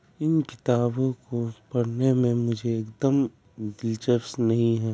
इन किताबों को पढ़ने में मुझे एकदम दिलचस्प नहीं है।